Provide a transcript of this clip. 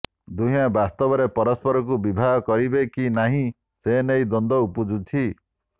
ଦୁହେଁ ବାସ୍ତବରେ ପରସ୍ପରଙ୍କୁ ବିବାହ କରିବେ କି ନାହିଁ ସେ ନେଇ ଦ୍ୱନ୍ଦ୍ୱ ଉପୁଜିଛି